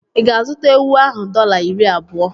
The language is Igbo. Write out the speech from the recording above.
Ị ga-azụta ewu ahụ dọla iri abụọ?